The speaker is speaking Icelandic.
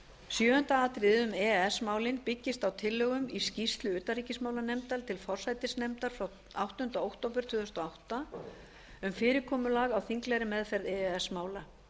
sjöunda atriðið um e e s málin byggist á tillögum í skýrslu utanríkismálanefndar til forsætisnefndar frá áttunda október tvö þúsund og átta um fyrirkomulag á þinglegri meðferð e e s mála